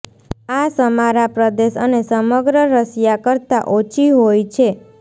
આ સમારા પ્રદેશ અને સમગ્ર રશિયા કરતાં ઓછી હોય છે